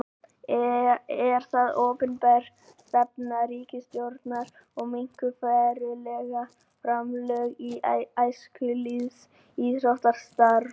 Er það opinber stefna ríkisstjórnar að minnka verulega framlög til æskulýðs- og íþróttastarfs?